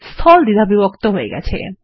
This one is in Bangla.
স্থল দ্বিধাবিভক্ত হয়ে গেছে160